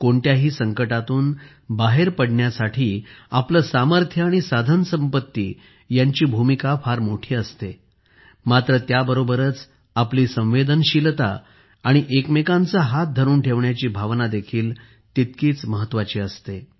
कोणत्याही संकटातून बाहेत पडण्यासाठी आपले सामर्थ्य आणि साधनसंपत्ती यांची भूमिका फार मोठी असते मात्र त्याबरोबरच आपली संवेदनशीलता आणि एकमेकांचा हात धरुन ठेवण्याची भावना देखील तितकीच महत्त्वाची असते